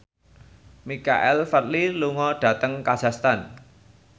Michael Flatley lunga dhateng kazakhstan